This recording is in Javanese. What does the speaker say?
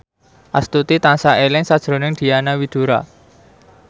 Astuti tansah eling sakjroning Diana Widoera